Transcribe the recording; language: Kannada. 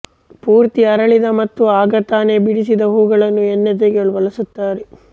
ಪೂರ್ತಿ ಅರಳಿದ ಮತ್ತು ಆಗ ತಾನೆ ಬಿಡಿಸಿದ ಹೂಗಳನ್ನು ಎಣ್ಣೆ ತೆಗೆಯಲು ಬಳಸುತ್ತಾರೆ